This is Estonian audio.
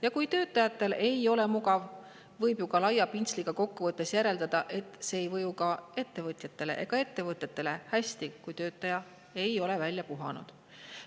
Ja kui töötajatel ei ole mugav, võib ju ka laia pintsliga kokku võttes järeldada, et see ei mõju ka ettevõtjatele ega ettevõtetele hästi, kui töötaja ei ole end välja puhanud.